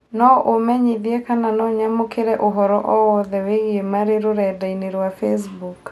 No ũmenyĩthĩe kana no nyamũkĩre ũhoro o wothe wĩigie Marĩ rũredaĩnĩ rwa Facebook